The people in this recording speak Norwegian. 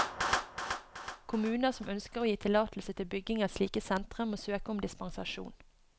Kommuner som ønsker å gi tillatelse til bygging av slike sentre, må søke om dispensasjon.